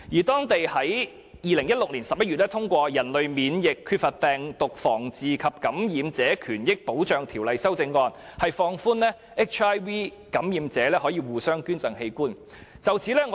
當地在2016年11月通過《人類免疫缺乏病毒傳染防治及感染者權益保障條例》的修正案，放寬讓 HIV 感染者互相捐贈器官的安排。